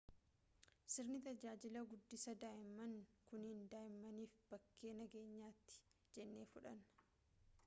sirni tajaajila guddisaa daa'imman kunniin daa'immaniif bakkee nageenyaati jennee fudhanna